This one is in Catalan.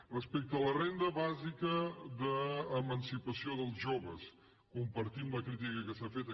respecte a la renda bàsica d’emancipació dels joves compartim la crítica que s’ha fet